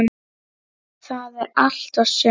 Það er allt og sumt.